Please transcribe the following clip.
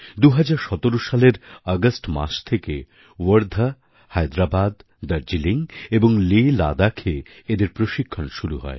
২০১৭ সালের অগাস্ট মাস থেকে ওয়ার্ধা হায়দ্রাবাদ দার্জিলিং এবং লেলাদাখে এদের প্রশিক্ষণ শুরু হয়